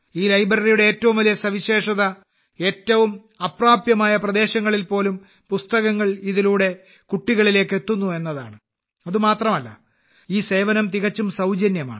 ഈ ലൈബ്രറിയുടെ ഏറ്റവും വലിയ സവിശേഷത ഏറ്റവും അപ്രാപ്യമായ പ്രദേശങ്ങളിൽപോലും പുസ്തകങ്ങൾ ഇതിലൂടെ കുട്ടികളിലേക്ക് എത്തുന്നു എന്നതാണ് അതുമാത്രമല്ല ഈ സേവനം തികച്ചും സൌജന്യമാണ്